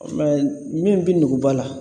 min bɛ nuguba la